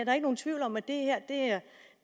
er ikke nogen tvivl om at det